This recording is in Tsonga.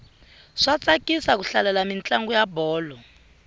swa tsakisa ku hlalela mintlangu ya bolo